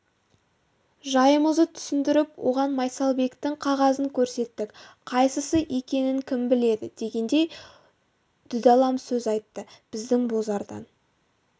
жайымызды түсіндіріп оған майсалбектің қағазын көрсеттік қайсысы екенін кім біледі дегендей дүдамал сөз айтты біздің бозарған